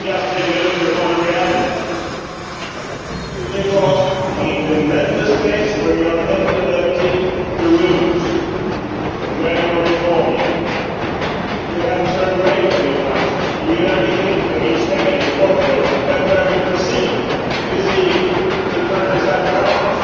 We can just take a look at the reality, because in the Member States where you are implementing the rules and where you are reforming we have turned away from the crisis in the United Kingdom, in Spain, in Portugal but where you proceed you see it in countries like France.